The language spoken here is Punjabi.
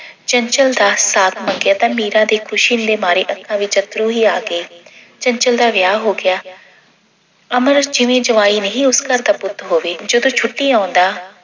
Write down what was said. ਚੰਚਲ ਦਾ ਸਾਥ ਮੰਗਿਆ ਤਾਂ ਮੀਰਾ ਦੇ ਖੁਸ਼ੀ ਦੇ ਮਾਰੇ ਅੱਖਾਂ ਵਿੱਚ ਅੱਥਰੂ ਹੀ ਆ ਗਏ। ਚੰਚਲ ਦਾ ਵਿਆਹ ਹੋ ਗਿਆ। ਅਮਰ ਜਿਵੇਂ ਜਵਾਈ ਨਹੀਂ ਉਸ ਘਰ ਦਾ ਪੁੱਤ ਹੋਵੇ ਜਦੋਂ ਛੁੱਟੀ ਆਉਂਦਾ